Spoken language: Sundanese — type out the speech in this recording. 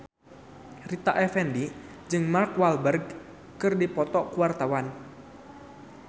Rita Effendy jeung Mark Walberg keur dipoto ku wartawan